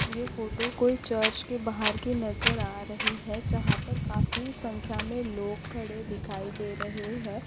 ये फोटो कोई चर्च के बाहर की नज़र आ रही है जहा पर काफी संख्या में लोग खड़े दिखाई दे रहे है।